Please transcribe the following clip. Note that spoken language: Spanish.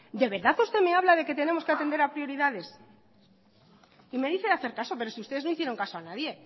de verdad usted me habla de que tenemos que atender a prioridades y me dice de hacer caso pero si ustedes no hicieron caso a nadie